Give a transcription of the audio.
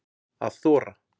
Að þora